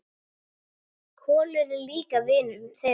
Kolur er líka vinur þeirra.